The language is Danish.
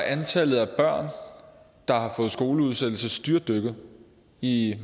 antallet af børn der har fået skoleudsættelse styrtdykket i